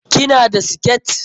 Ki na da siket?